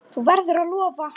Þú verður að lofa!